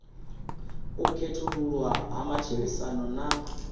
u khethululwa ha matshilisano na